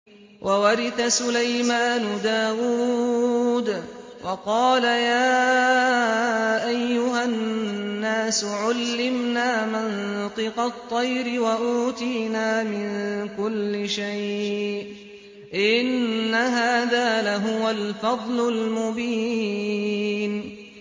وَوَرِثَ سُلَيْمَانُ دَاوُودَ ۖ وَقَالَ يَا أَيُّهَا النَّاسُ عُلِّمْنَا مَنطِقَ الطَّيْرِ وَأُوتِينَا مِن كُلِّ شَيْءٍ ۖ إِنَّ هَٰذَا لَهُوَ الْفَضْلُ الْمُبِينُ